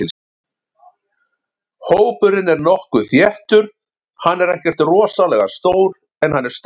Hópurinn er nokkuð þéttur, hann er ekkert rosalega stór en hann er sterkur.